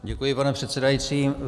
Děkuji, pane předsedající.